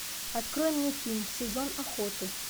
открой мне фильм сезон охоты